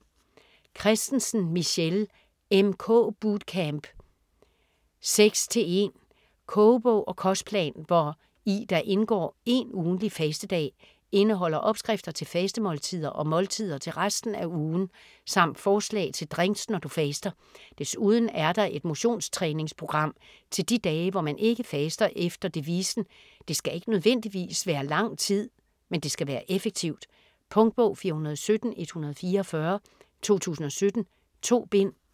Kristensen, Michelle: MK bootcamp 6:1 Kogebog og kostplan, hvor i der indgår én ugentlig fastedag. Indeholder opskrifter til fastemåltider og måltider til resten af ugen, samt forslag til drinks når du faster. Desuden er der et motions-træningsprogram til de dage, hvor man ikke faster efter devisen: det skal ikke nødvendigvis være lang tid, men det skal være effektivt. Punktbog 417144 2017. 2 bind.